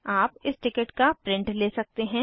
आप इस टिकट का प्रिंट ले सकते हैं